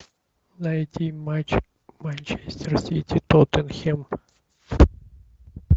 найти матч манчестер сити тоттенхэм